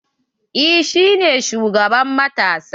Eh shi ne shugaban matasa.